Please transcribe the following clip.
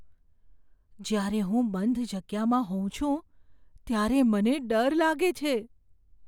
જ્યારે હું બંધ જગ્યામાં હોઉં છું ત્યારે મને ડર લાગે છે.